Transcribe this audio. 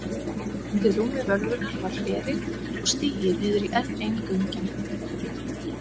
Undir rúmi völvunnar var hleri og stigi niður í enn ein göngin.